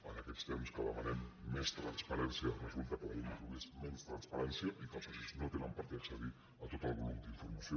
en aquests temps que demanem més transparència resulta que la llei introdueix menys transparència i que els socis no tenen per què accedir a tot el volum d’informació